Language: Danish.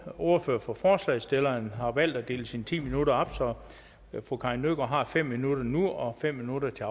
er ordfører for forslagsstillerne har valgt at dele sine ti minutter op så fru karin nødgaard har fem minutter nu og fem minutter til